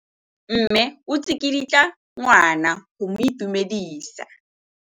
Mme o tsikitla ngwana go mo itumedisa.